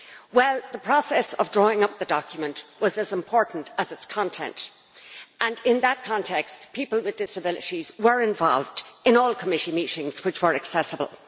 Well, the process of drawing up the document was as important as its content, and in that context people with disabilities were involved in all committee meetings which were accessible.